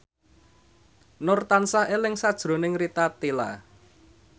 Nur tansah eling sakjroning Rita Tila